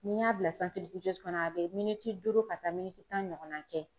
N'i y'a bila santiriwijɛsi kɔnɔ a be miniti duuru ka taa miniti tan ɲɔgɔn na kɛ